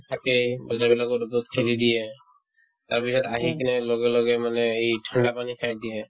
থাকেই বজাৰবিলাকো ৰ'দত খুলি দিয়ে তাৰপিছত আহি কিনে লগে লগে মানে এই ঠাণ্ডা পানী খাই দিয়ে